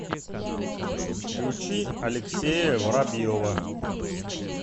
включи алексея воробьева